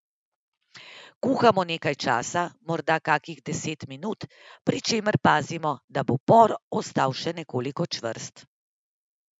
Kuhamo nekaj časa, morda kakih deset minut, pri čemer pazimo, da bo por ostal še nekoliko čvrst.